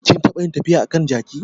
Kin taɓa yin tafiya a kan jaki?